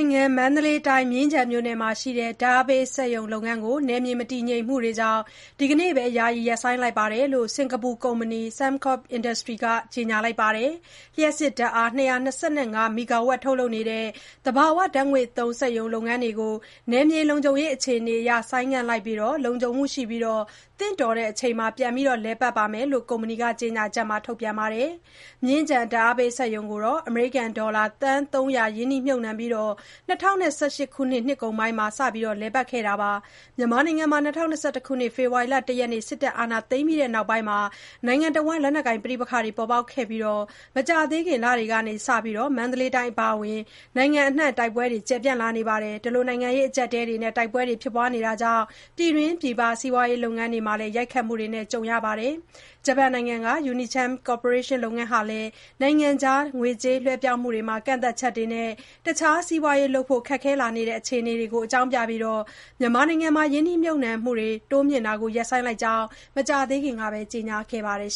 င်ငံ မန္တလေးတိုင်း၊ မြင်းခြံမြို့နယ်က ဓာတ်အားပေးစက်ရုံလုပ်ငန်းကို နယ်မြေမတည်ငြိမ်မှုတွေကြောင့် ဒီကနေ့ပဲ ယာယီရပ်ဆိုင်းလိုက်ကြောင်း စင်္ကာပူကုမ္ပဏီ Sembcorp Industries က ကြေညာလိုက်ပါတယ်။ လျှပ်စစ်ဓာတ်အား ၂၂၅ မီဂါဝပ် ထုတ်လုပ်နေတဲ့ သဘာဝဓာတ်ငွေ့သုံး စက်ရုံလုပ်ငန်းတွေကို နယ်မြေလုံခြုံရေး အခြေအနေအရ ဆိုင်းငံ့လိုက်ပြီး၊ လုံခြုံမှုရှိပြီး သင့်တော်တဲ့အချိန်မှာ ပြန်လည်ပတ်မှာဖြစ်ကြောင်း ကုမ္ပဏီက ကြေညာချက်မှာ ဖော်ပြခဲ့တာပါ။ မြင်းခြံဓာတ်အားပေးစက်ရုံကိုတော့ Sembcorp က အမေရိကန်ဒေါ်လာ သန်း ၃၀၀ ရင်းနှီးမြှုပ်နှံပြီး ၂၀၁၈ ခုနှစ်ကုန်ပိုင်းမှာ စတင်လည်ပတ်ခဲ့တာ ဖြစ်ပါတယ်။ မြန်မာနိုင်ငံမှာ ၂၀၂၁ ခုနှစ် စစ်တပ်က အာဏာသိမ်းပြီးနောက်ပိုင်း လက်နက်ကိုင် ပဋိပက္ခတွေ ပေါ်ပေါက်ခဲ့ပြီး မကြာသေးခင် လတွေကစ မန္တလေးတိုင်း အပါအဝင် နိုင်ငံအနှံ့ တိုက်ပွဲတွေလည်း ကျယ်ပြန့်လာနေတာပါ။ နိုင်ငံရေး အကျပ်အတည်းတွေနဲ့ တိုက်ပွဲတွေကြောင့် ပြည်တွင်းပြည်ပ စီးပွားရေး လုပ်ငန်းတွေမှာ ရိုက်ခတ်မှုတွေလည်း ကြုံနေရပါတယ်။ ဂျပန်နိုင်ငံက Unicharm ကော်ပိုရေးရှင်းလုပ်ငန်းဟာလည်း နိုင်ငံခြားငွေကြေး လွှဲပြောင်းမှုတွေမှာ ကန့်သတ်ချက်တွေနဲ့ တခြား စီးပွားရေးလုပ်ဖို့ ခက်ခဲလာတဲ့ အခြေအနေတွေကို အကြောင်းပြပြီး မြန်မာနိုင်ငံက လုပ်ငန်းမှာ ရင်းနှီးမြှုပ်နှံမှုတွေ တိုးမြှင့်တာကို ရပ်ဆိုင်းလိုက်ကြောင်း မကြာသေးခင်ကပဲ ကြေညာခဲ့ပါတယ်